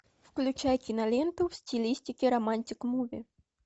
включай киноленту в стилистике романтик муви